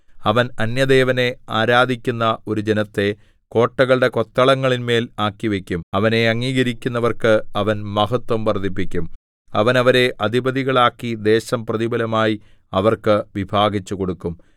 അവൻ അന്യദേവനെ ആരാധിക്കുന്ന ഒരു ജനത്തെ കോട്ടകളുടെ കൊത്തളങ്ങളിന്മേൽ ആക്കിവയ്ക്കും അവനെ അംഗീകരിക്കുന്നവർക്ക് അവൻ മഹത്ത്വം വർദ്ധിപ്പിക്കും അവൻ അവരെ അധിപതികളാക്കി ദേശം പ്രതിഫലമായി അവർക്ക് വിഭാഗിച്ചുകൊടുക്കും